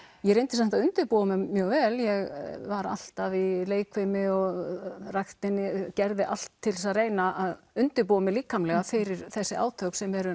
ég reyndi samt að undirbúa mig mjög vel ég var alltaf í leikfimi og ræktinni og gerði allt til að reyna að undirbúa mig líkamlega fyrir þessi átök sem eru